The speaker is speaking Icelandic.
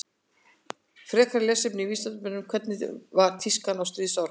Frekara lesefni á Vísindavefnum Hvernig var tískan á stríðsárunum?